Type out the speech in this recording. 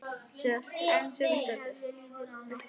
En hún hafði leitað annað.